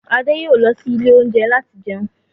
Adé yòó lọ sí ilé oúnjẹ láti jẹun.